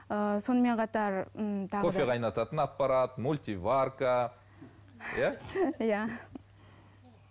ыыы сонымен қатар ммм тағы да кофе қайнататын аппарат мультиварка иә иә